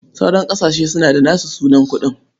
Sauran ƙasashe suna da nasu sunan kuɗi.